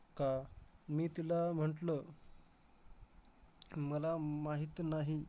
का? मी तिला म्हंटलं, मला माहित नाही.